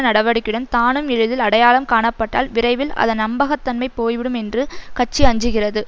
நடவடிக்கையுடன் தானும் எளிதில் அடையாளம் காணப்பட்டால் விரைவில் அதன் நம்பகத்தன்மை போய்விடும் என்று கட்சி அஞ்சுகிறது